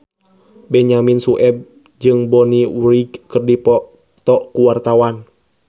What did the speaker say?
Benyamin Sueb jeung Bonnie Wright keur dipoto ku wartawan